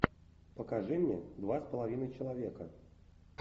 покажи мне два с половиной человека